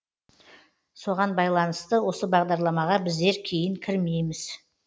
соған байланысты осы бағдарламаға біздер кейін кірмейміз